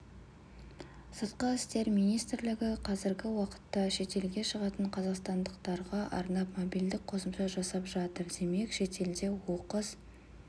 сырты істер министрлігі қазіргі уақытта шетелге шығатын қазақстандықтарға арнап мобильдік қосымша жасап жатыр демек шетелде оқыс